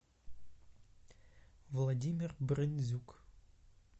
владимир бронзюк